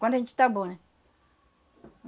Quando a gente está bom, né?